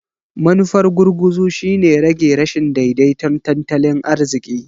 Manufar gurguzu shine rage rashin daidaiton tattalin arziƙi.